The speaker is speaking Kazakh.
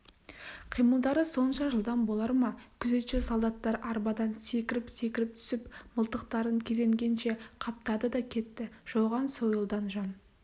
қимылдары сонша жылдам болар ма күзетші солдаттар арбадан секіріп-секіріп түсіп мылтықтарын кезенгенше қаптады да кетті жауған сойылдан жан